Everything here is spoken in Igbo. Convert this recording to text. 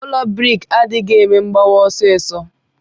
Ụlọ briks adighi eme mgbawa ọsisọ.